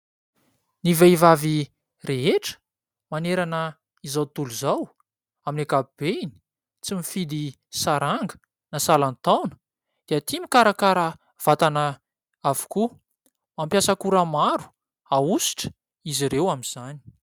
Ny vehivavy rehetra, manerana izao tontolo izao, amin'ny ankapobeny, tsy mifidy saranga na salan-taona dia tia mikarakara vatana avokoa. Mampiasa akora maro ahosotra izy ireo amin'izany.